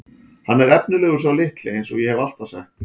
Hann er efnilegur sá litli eins og ég hef alltaf sagt.